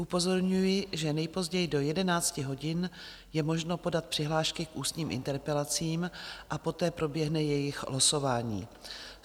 Upozorňuji, že nejpozději do 11 hodin je možno podat přihlášky k ústním interpelacím a poté proběhne jejich losování.